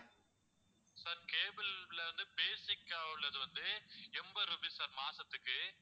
sir cable ல வந்து basic ஆ உள்ளது வந்து எண்பது rupees sir மாசத்துக்கு